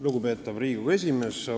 Lugupeetav Riigikogu esimees!